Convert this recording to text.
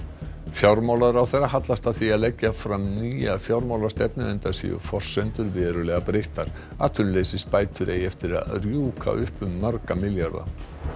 fjármálaráðherra hallast að því að leggja fram nýja fjármálastefnu enda séu forsendur verulega breyttar atvinnuleysisbætur eigi eftir að rjúka upp um marga milljarða